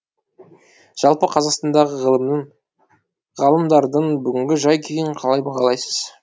жалпы қазақстандағы ғылымның ғалымдардың бүгінгі жай күйін қалай бағалайсыз